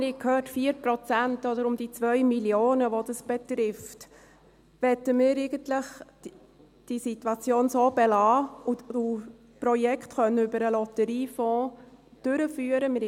wir haben gehört 4 Prozent oder um die 2 Mio. Franken, die das betrifft –, wollen wir eigentlich diese Situation so belassen und Projekte über den Lotteriefonds durchführen können.